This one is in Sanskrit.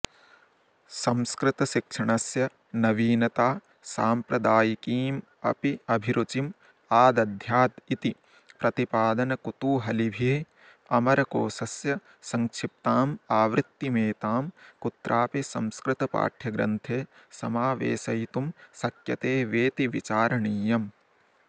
संस्कृतशिक्षणस्य नवीनता सांप्रदायिकीमप्यभिरुचिम् आदध्यादिति प्रतिपादनकुतूहलिभिरमरकोशस्य संक्षिप्तामावृत्तिमेतां कुत्रापि संस्कृतपाठयग्रन्थे समावेशयितुं शक्यते वेति विचारणीयम्